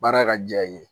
Baara ka diya i ye